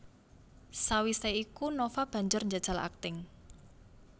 Sawisé iku Nova banjur njajal akting